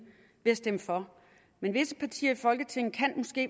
ved at stemme for men visse partier i folketinget